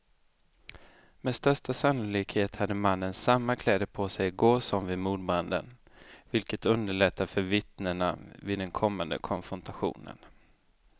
Med största sannolikhet hade mannen samma kläder på sig i går som vid mordbranden, vilket underlättar för vittnena vid den kommande konfrontationen.